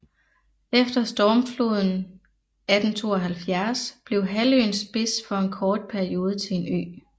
Efter stormfloden 1872 blev halvøens spids for en kort periode til en ø